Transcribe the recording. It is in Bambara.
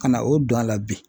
Ka na o don a la bi.